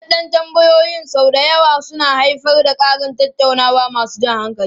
Buɗeɗden tambayoyin sau da yawa suna haifar da ƙarin tattaunawa masu jan hankali.